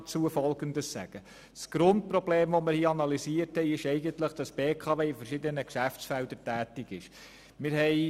Hier liegt das Grundproblem darin, dass die BKW in verschiedenen Geschäftsfeldern tätig ist.